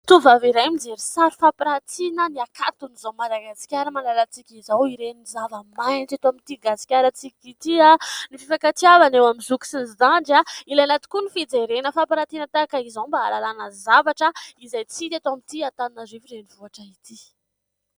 Tovovavy iray mijery sary fampiratina, ny hakanton'izao Madagasikara malalantsika izao. Ireny zavamaitso eto amin'ity gasikarantsika ity, ny fifankatiavana eo amin'ny zoky sy ny zandry, ilaina tokoa ny fijerena fampiratina tahaka izao mba hahalalàna zavatra izay tsy hita eto amin'ity Antananarivo renivohitra ity.